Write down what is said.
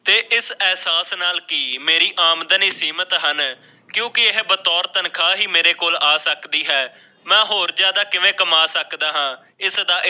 ਤੇ ਇਸ ਅਹਿਸਾਸ ਨਾਲ ਕਿ ਮੇਰੀ ਆਮਦਨੀ ਸੀ ਕਿਉਂਕਿ ਇਹ ਬਤੋਰ ਤਨਖਵਾ ਹੀ ਮੇਰੇ ਕੋਲ ਆ ਸਕਦੀ ਹੈ। ਮੈਂ ਹੋਰ ਜ਼ਿਆਦਾ ਕਿਵੇਂ ਕਮਾ ਸਕਦਾ ਹਾਂ ਇਸਦਾ